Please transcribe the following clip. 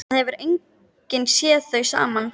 Það hefur enginn séð þau saman.